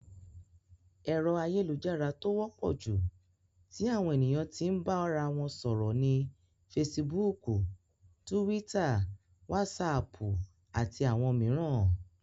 Ẹ̀rọ ayélujára tó wọ́pọ̀ jù tí àwọn ènìyàn tí n bára wọn sọ̀rọ̀ ni Fesibúùkù, Túwítà, Wásaàpù, àti àwọn mìíràn.